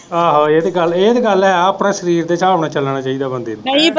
ਆਹੋ ਇਹ ਤੇ ਗੱਲ ਇਹ ਤੇ ਗੱਲ ਹੈ ਆਪਣੇ ਸਰੀਰ ਦੇ ਹਿਸਾਬ ਨਾਲ ਚੱਲਣਾ ਚਾਹੀਦਾ ਬੰਦੇ।